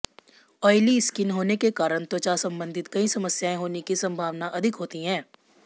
oily skin होने के कारण त्वचा संबंधित कई समस्याएं होने की संभावना अधिक होती है